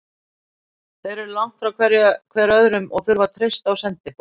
Þeir eru langt frá hver öðrum og þurfa að treysta á sendiboða.